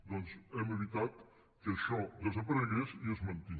doncs hem evitat que això desaparegués i es manté